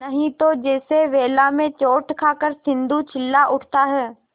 नहीं तो जैसे वेला में चोट खाकर सिंधु चिल्ला उठता है